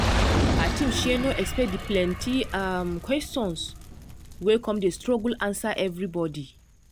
her team um no expect the plenty um questions wey come dem struggle answer everybody.